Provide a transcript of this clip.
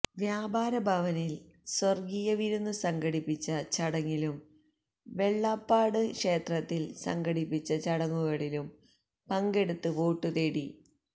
വ്യാപാരഭവനില് സ്വര്ഗ്ഗീയ വിരുന്ന് സംഘടിപ്പിച്ച ചടങ്ങിലും വെള്ളാപ്പാട് ക്ഷേത്രത്തില് സംഘടിപ്പിച്ച ചടങ്ങുകളിലും പങ്കെടുത്ത് വോട്ടു തേടി